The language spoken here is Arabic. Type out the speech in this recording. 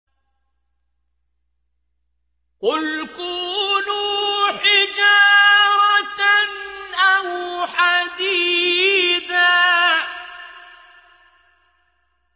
۞ قُلْ كُونُوا حِجَارَةً أَوْ حَدِيدًا